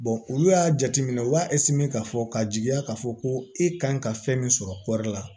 olu y'a jateminɛ u b'a k'a fɔ ka jigiya k'a fɔ ko e kan ka fɛn min sɔrɔ kɔri la